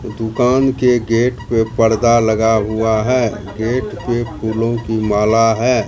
दुकान के गेट पे पर्दा लगा हुआ है गेट पे फूलों की माला है।